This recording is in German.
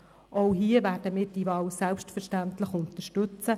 Auch diese Wahl werden wir selbstverständlich unterstützen.